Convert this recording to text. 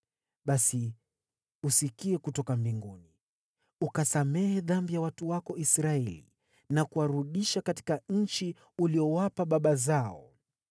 basi usikie kutoka mbinguni, ukasamehe dhambi ya watu wako Israeli na kuwarudisha katika nchi uliyowapa baba zao.